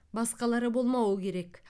басқалары болмауы керек